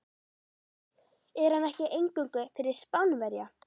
Er hann ekki eingöngu fyrir Spánverja.